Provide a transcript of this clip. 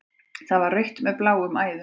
Það var rautt með bláum æðum.